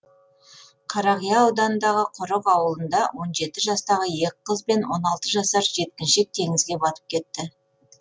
қарақия ауданындағы құрық ауылында он жеті жастағы екі қыз бен он алты жасар жеткіншек теңізге батып кетті